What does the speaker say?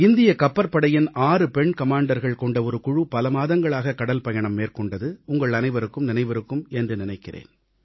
இந்திய கப்பற்படையின் 6 பெண் கமாண்டர்கள் கொண்ட ஒரு குழு பல மாதங்களாக கடல்பயணம் மேற்கொண்டது உங்கள் அனைவருக்கும் நினைவிருக்கும் என்று நினைக்கிறேன்